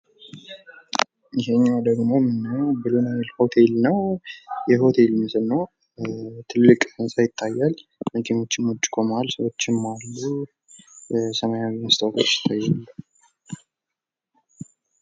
ይሄኛው ደሞ ብሉ ናይል ሆቴል ነው። የሆቴሉ ስም ነው ። ትልቅ ህንፃ ይታያል መኪናዎችም ውጭ ቁመዋል ሰዎችም አሉ። ሰማያዊ መስታወት ይታየኛል።